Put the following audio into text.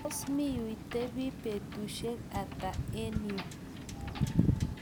tos miuitebi betusiek ata eng yu ?